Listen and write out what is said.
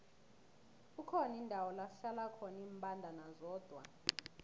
kukhona indawo lakuhlala khona imbandana zodwa